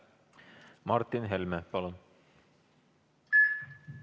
Martin Helme, palun!